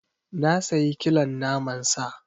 Na sayi kilon naman sa.